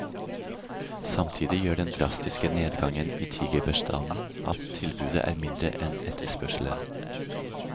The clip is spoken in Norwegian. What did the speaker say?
Samtidig gjør den drastiske nedgangen i tigerbestanden at tilbudet er mindre enn etterspørselen.